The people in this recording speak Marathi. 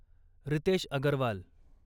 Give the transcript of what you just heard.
रितेश अगरवाल